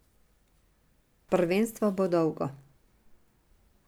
Prvenstvo bo dolgo.